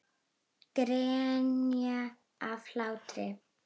Grenja af hlátri.